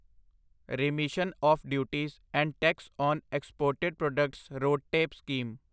remission of duties and tax on exported products RoDTEP scheme